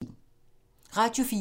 Radio 4